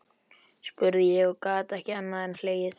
spurði ég og gat ekki annað en hlegið.